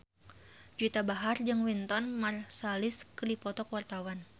Juwita Bahar jeung Wynton Marsalis keur dipoto ku wartawan